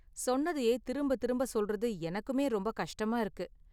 சொன்னதையே திரும்ப திரும்ப சொல்றது எனக்குமே ரொம்ப கஷ்டமா இருக்கு.